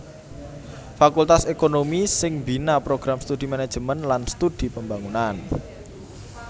Fakultas ékonomi sing mbina Program Studi Manajemen lan Studi Pembangunan